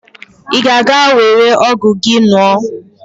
Ị ga-aga were ọgwụ gị nwụọ!